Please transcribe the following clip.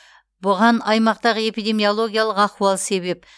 бұған аймақтағы эпидемиологиялық ахуал себеп